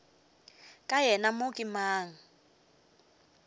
ka yena mo ke mang